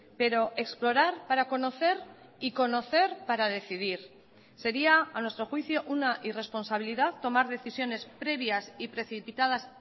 pero explorar para conocer y conocer para decidir sería a nuestro juicio una irresponsabilidad tomar decisiones previas y precipitadas